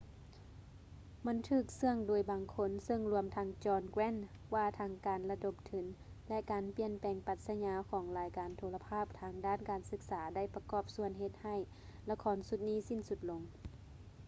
ມັນຖືກເຊຶ່ອໂດຍບາງຄົນ ເຊິ່ງລວມທັງ john grant ວ່າທັງການລະດົມທຶນ ແລະ ການປ່ຽນແປງປັດສະຍາຂອງລາຍການໂທລະພາບທາງດ້ານການສຶກສາໄດ້ປະກອບສ່ວນເຮັດໃຫ້ລະຄອນຊຸດສິ້ນສຸດລົງ